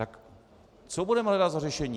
Tak co budeme hledat za řešení?